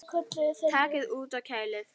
Takið út og kælið.